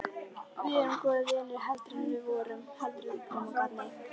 Við erum góðir vinir heldur við vorum.